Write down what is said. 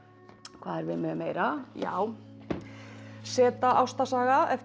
hvað erum við með meira já z ástarsaga eftir